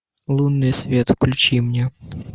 лунный свет включи мне